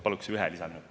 Paluks ühe lisaminuti.